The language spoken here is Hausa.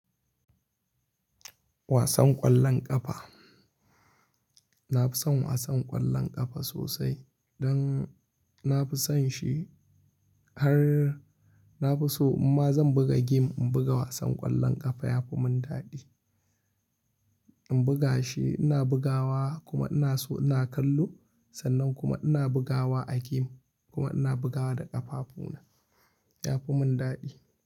Wasan ƙwallon ƙafa. Na fi son wasan ƙwallon ƙafa sosai don na fi son shi har na fi so in ma zan buga game in buga wasan ƙwallon ƙafa yafi mun daɗi. In buga shi ina bugawa kuma ina so ina kallo sannan kuma ina bugawa a game kuma ina bugawa da ƙafafu na yafi mun daɗi.